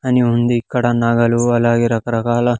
అని ఉంది ఇక్కడ నగలు అలాగే రకరకాల.